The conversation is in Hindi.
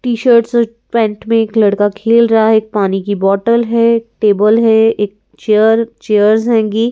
टी-शर्ट्स और पैंट में एक लड़का खेल रहा है एक पानी की बोतल है टेबल है एक चेयर चेयर्स हेगी ।